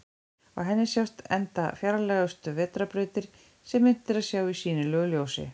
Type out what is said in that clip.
Á henni sjást enda fjarlægustu vetrarbrautir sem unnt er að sjá í sýnilegu ljósi.